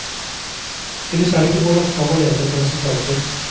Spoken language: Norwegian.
Ellers er det ikke vår oppgave å lete etter resultater.